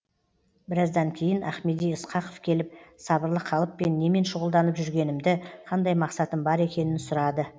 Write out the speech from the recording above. біраздан кейін ахмеди ысқақов келіп сабырлы қалыппен немен шұғылданып жүргенімді қандай мақсатым бар екенін сұрады